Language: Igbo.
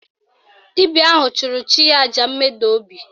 Dibịa ahụ chụrụ chi ya àjà mmeda obi